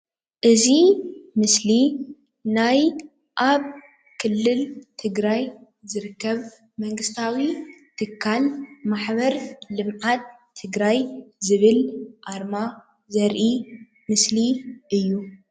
እዚ ምስሊ ናይ ኣብ ክልል ትግራይ ዝርከብ መንግስታዊ ትካል ማሕበር ልምዓት ትግራይ ዝበል ኣርማ ዘርኢ ምስሊ እዩ።